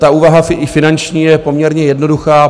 Ta úvaha i finanční je poměrně jednoduchá.